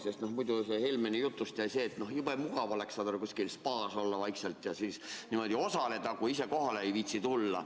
Sest muidu Helmeni jutust jäi mulje, et jube mugav oleks, kui saad näiteks vaikselt kuskil spaas olla ja siis niimoodi osaleda, kui ise kohale ei viitsi tulla.